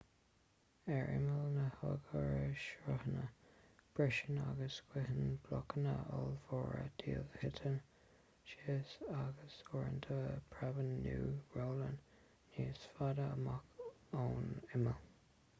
ar imeall na n-oighearshruthanna briseann agus scoitheann blocanna ollmhóra díobh titeann síos agus uaireanta preabann nó rollann níos faide amach ón imeall